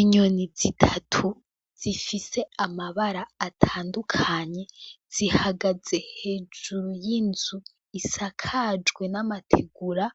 Inyoni zitatu zifise amabara atandukanye z'ihagaze hejuru y'inzu isakajwe n'amategura